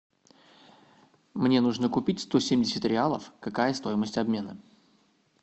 мне нужно купить сто семьдесят реалов какая стоимость обмена